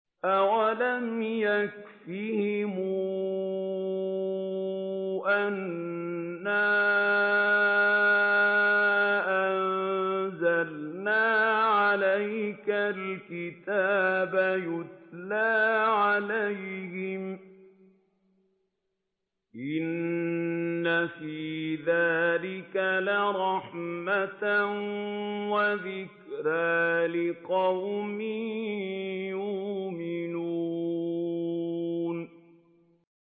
أَوَلَمْ يَكْفِهِمْ أَنَّا أَنزَلْنَا عَلَيْكَ الْكِتَابَ يُتْلَىٰ عَلَيْهِمْ ۚ إِنَّ فِي ذَٰلِكَ لَرَحْمَةً وَذِكْرَىٰ لِقَوْمٍ يُؤْمِنُونَ